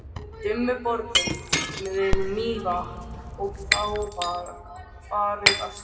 Dimmuborgum við Mývatn og þá var farið að skyggja.